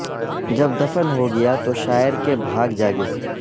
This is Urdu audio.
جب دفن ہو گیا تو شاعر کے بھاگ جاگے